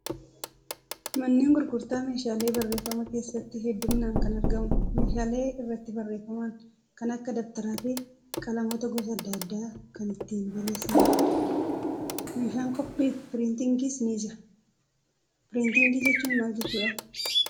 Manneen gurgurtaa meeshaalee barreeffamaa keessatti hedduminaan kan argamu meeshaalee irratti barreeffaman kan akka dabtaraa fi qalamoota gosa adda addaa kan ittiin barreessinudha. Meeshaan koppii fi piriintingiis ni jira. Piriintii jechuun maal jechuudhaa?